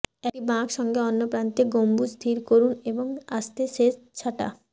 একটি বাঁক সঙ্গে অন্য প্রান্তে গম্বুজ স্থির করুন এবং আস্তে শেষ ছাঁটা